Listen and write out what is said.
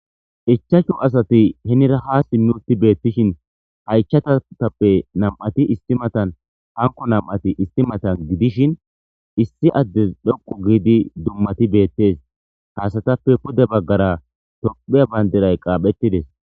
ichachu asati henira ha simmi utti beettishin haychatatappe nam7ati isti matan hanko nam7ati isti matan gidishin issi addes dhoqu giidi dummati beettes haasatappe pude baggara tophiya bayndiray qaaphettides